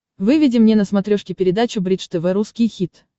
выведи мне на смотрешке передачу бридж тв русский хит